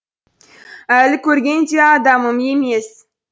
әлі көрген де адамым емес